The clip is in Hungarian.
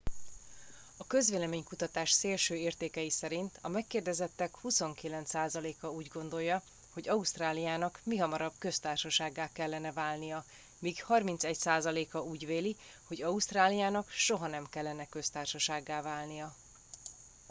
a közvélemény kutatás szélső értékei szerint a megkérdezettek 29%-a úgy gondolja hogy ausztráliának mihamarabb köztársasággá kellene válnia míg 31%-a úgy véli hogy ausztráliának soha nem kellene köztársasággá válnia